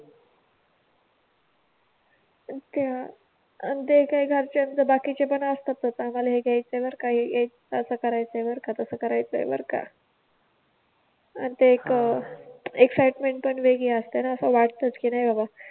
आणि ते काही घरच्यांचा बाकी चे पण असतात. आम्हाला हे घ्यायच ए बर का असं करायचं ए बर का तसं करायचं बर का. आणि ते एक एक्साइटमेन्ट पण वेगळी असते असं वाटतंच की नाही बाबा